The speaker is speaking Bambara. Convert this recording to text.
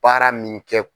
Baara min kɛ